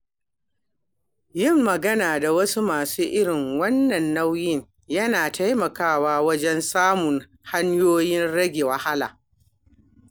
Yin magana da wasu masu irin wannan nauyi yana taimakawa wajen samun hanyoyin rage wahala.